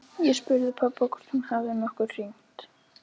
Ég spurði pabba hvort hún hefði nokkuð hringt.